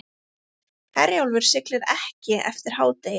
Herjólfur siglir ekki eftir hádegi